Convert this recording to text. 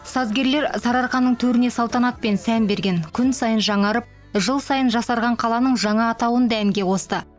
сазгерлер сарыарқаның төріне салтанат пен сән берген күн сайын жаңарып жыл сайын жасарған қаланың жаңа атауын да әнге қосты